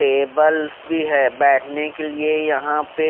Tables भी है बैठने के लिए यहां पे।